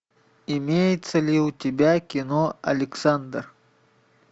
имеется ли у тебя кино александр